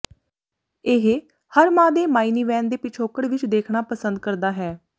ਇਹ ਹਰ ਮਾਂ ਦੇ ਮਾਈਨੀਵੈਨ ਦੇ ਪਿਛੋਕੜ ਵਿਚ ਦੇਖਣਾ ਪਸੰਦ ਕਰਦਾ ਹੈ